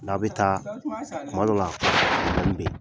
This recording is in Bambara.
N'a bɛ taa, tuma la, a poroblɛmu bɛ yen.